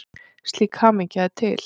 Slík hamingja er til.